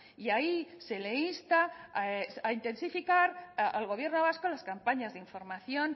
y ahí se le insta a intensificar al gobierno vasco las campañas de información